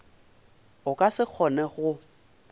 o ka se kgone go